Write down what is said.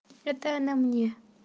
это она мне